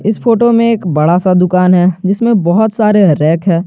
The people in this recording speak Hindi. इस फोटो में एक बड़ा सा दुकान है जिसमें बहोत सारे रैक है।